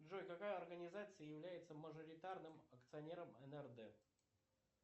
джой какая организация является мажоритарным акционером нрд